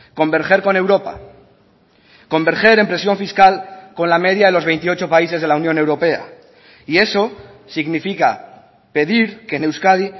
converger con europa converger en presión fiscal con la media de los veintiocho países de la unión europea y eso significa pedir que en euskadi